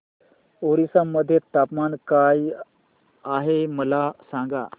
ओरिसा मध्ये तापमान काय आहे मला सांगा